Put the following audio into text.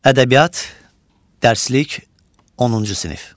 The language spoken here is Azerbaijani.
Ədəbiyyat, dərslik, 10-cu sinif.